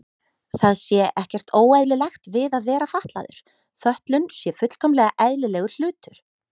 Það sé ekkert óeðlilegt við að vera fatlaður, fötlun sé fullkomlega eðlilegur hlutur.